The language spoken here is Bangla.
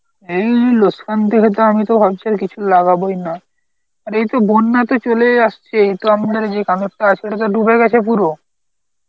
এই লোসকান করে তো আমি তো ভাবছিলাম কিছু লাগাবোই না. আর এইতো বন্যা তো চলেই আসছে তো আমি ধরো যে কানোরটা আছে ওটা তো ডুবে গেছে পুরো